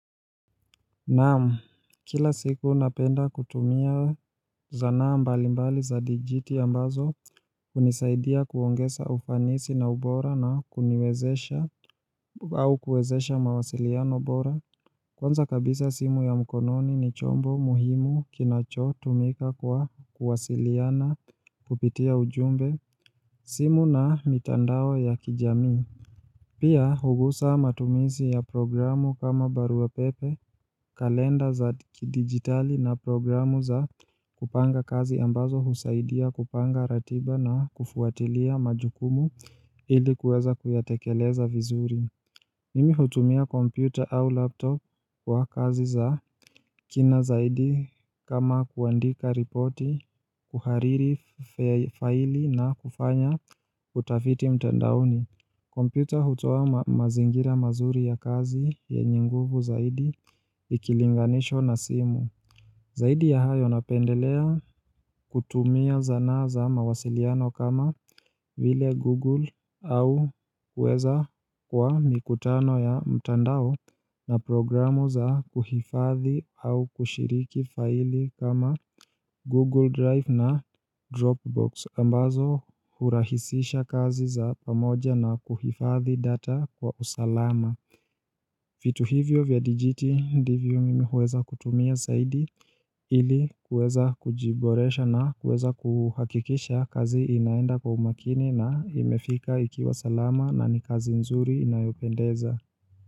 Naam, kila siku napenda kutumia zana mbalimbali za dijiti ambazo hunisaidia kuongeza ufanisi na ubora na kuniwezesha au kuwezesha mawasiliano bora, kwanza kabisa simu ya mkononi ni chombo muhimu kinacho tumika kwa kuwasiliana kupitia ujumbe, simu na mitandao ya kijamii. Pia hugusa matumizi ya programu kama barua pepe, kalenda za kidigitali na programu za kupanga kazi ambazo husaidia kupanga ratiba na kufuatilia majukumu ilikuweza kuyatekeleza vizuri. Mimi hutumia kompyuta au laptop wa kazi za kina zaidi kama kuandika ripoti, kuhariri faili na kufanya utafiti mtandaoni. Kompyuta hutoa mazingira mazuri ya kazi yenye nguvu zaidi ikilinganishwa na simu Zaidi ya hayo napendelea kutumia zanaa za mawasiliano kama vile Google au uweza kwa mikutano ya mtandao na programu za kuhifadhi au kushiriki faili kama Google Drive na Dropbox ambazo hurahisisha kazi za pamoja na kuhifadhi data kwa usalama vitu hivyo vya dijiti ndivyo mimi huweza kutumia zaidi ili kuweza kujiboresha na kuweza kuhakikisha kazi inaenda kwa umakini na imefika ikiwa salama na ni kazi nzuri inayopendeza.